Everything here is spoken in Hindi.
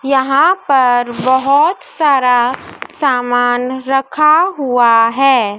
यहां पर बहोत सारा सामान रखा हुआ है।